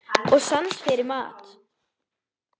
Og sans fyrir mat.